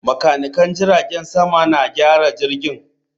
Makanikan jiragen sama na gyara jirgin